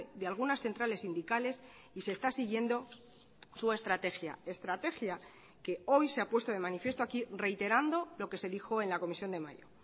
de algunas centrales sindicales y se está siguiendo su estrategia estrategia que hoy se ha puesto de manifiesto aquí reiterando lo que se dijo en la comisión de mayo